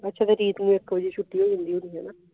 ਰੀਤ ਨੂੰ ਇਕ ਵਜੇ ਛੁਟੀ ਹੋ ਜਾਂਦੀ ਹੋਣੀ ਆ ਨਾ